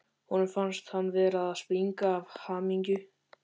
Honum fannst hann vera að springa af hamingju.